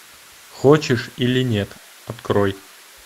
хочешь или нет открой